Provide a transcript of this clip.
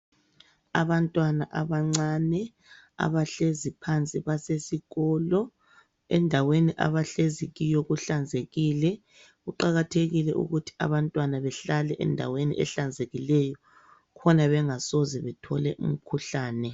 Abantwana abancane abahlezi phansi basesikolo endaweni abahlezi kiyo kuhlanzekile. Kuqakathekile ukuthi abantwana behlale endaweni ehlanzekileyo khona bengasoze bathole umkhuhlane.